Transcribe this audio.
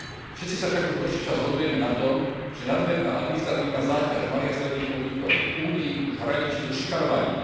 Všetci sa však už dlhší čas zhodujeme na tom, že nadmerná administratívna záťaž malých a stredných podnikov v Únii už hraničí so šikanovaním.